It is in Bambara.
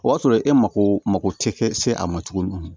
O y'a sɔrɔ e mako mako tɛ se a ma tuguni